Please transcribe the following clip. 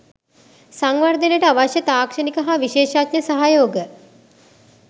සංවර්ධනයට අවශ්‍ය තාක්ෂණික හා විශේෂඥ සහයෝග